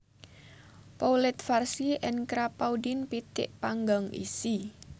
Poulet farcie en Crapaudine pitik panggang isi